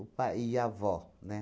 O pa e a avó, né?